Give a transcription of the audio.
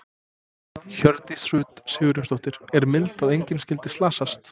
Hjördís Rut Sigurjónsdóttir: Er mildi að engin skyldi slasast?